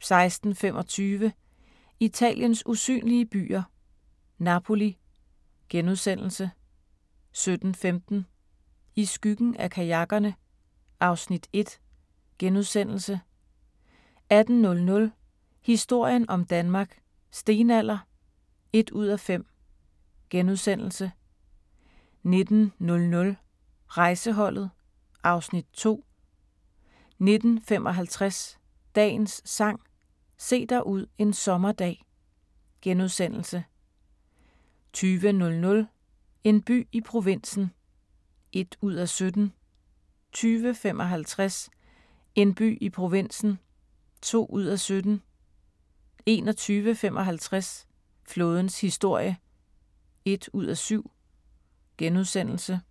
16:25: Italiens usynlige byer – Napoli * 17:15: I skyggen af kajakkerne (Afs. 1)* 18:00: Historien om Danmark: Stenalder (1:5)* 19:00: Rejseholdet (Afs. 2) 19:55: Dagens Sang: Se dig ud en sommerdag * 20:00: En by i provinsen (1:17) 20:55: En by i provinsen (2:17) 21:55: Flådens historie (1:7)*